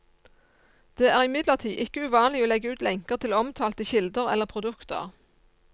Det er imidlertid ikke uvanlig å legge ut lenker til omtalte kilder eller produkter.